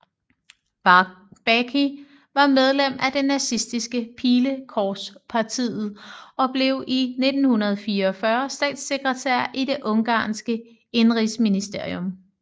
Baky var medlem af det nazistiske Pilekorspartiet og blev i 1944 statssekretær i det ungarske indenrigsministerium